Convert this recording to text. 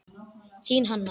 Þín Hanna.